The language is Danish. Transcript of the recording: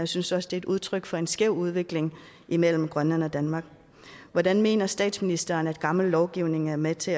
synes også det er udtryk for en skæv udvikling mellem grønland og danmark hvordan mener statsministeren at gammel lovgivning er med til